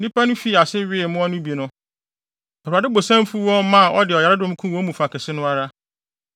Na nnipa no fii ase wee mmoa no bi no, Awurade bo san fuw wɔn maa ɔde ɔyaredɔm kum wɔn mu fa kɛse no ara.